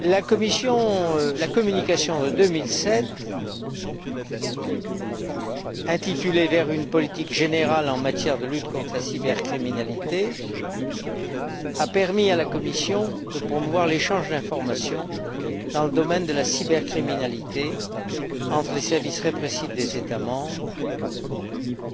La communication de 2007 intitulée Vers une politique générale en matière de lutte contre la cybercriminalité a permis à la Commission de promouvoir l'échange d'informations dans le domaine de la cybercriminalité entre les services répressifs des États membres,